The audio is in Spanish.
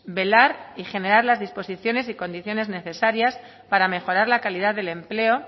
velar y generar las disposiciones y condiciones necesarias para mejorar la calidad del empleo